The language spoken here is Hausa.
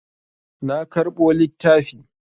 Na karɓo littafi.